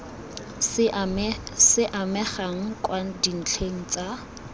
se amegang kwa dintlheng tsa